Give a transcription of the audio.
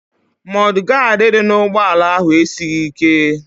Mọd gaadị dị n'ụgbọala ahụ esighị ike.